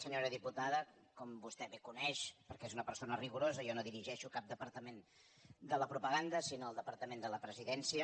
senyora diputada com vostè bé coneix perquè és una persona rigorosa jo no dirigeixo cap departament de la propaganda sinó el de·partament de la presidència